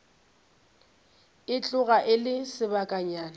e tloga e le sebakanyana